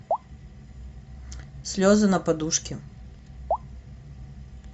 слезы на подушке